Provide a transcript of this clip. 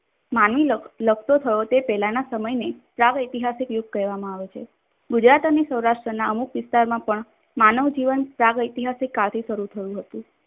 માનવી લખતો થયો તે પહેલાના સમયને તરાહો ઇતિહાસિક યુગ કહેવામાં આવે છે. ગુજરાત અને સૌરાટ્રના અમુક વિસ્તારમાં પણ માનવ જીવન ઇતિહાસિક કાળથી શરૂ થયું હતું.